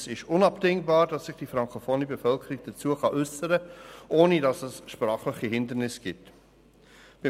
Es ist deshalb unabdingbar, dass sich die frankofone Bevölkerung dazu äussern kann, ohne dass sprachliche Hindernisse bestehen.